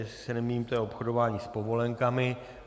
Jestli se nemýlím, je to obchodování s povolenkami.